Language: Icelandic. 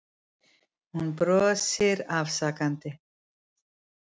Hún brosir afsakandi.